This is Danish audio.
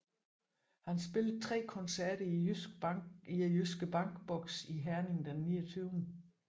Han spillede 3 koncerter i Jyske Bank Boxen i Herning den 29